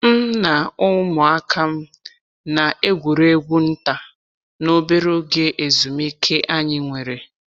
m na umuaka'm na egwuregwu nta n'obere oge ezumike anyi nwere.